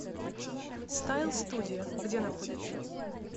стайл студио где находится